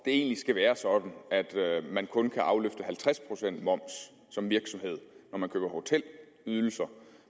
egentlig skal være sådan at man kun kan afløfte halvtreds procent moms som virksomhed når man køber hotelydelser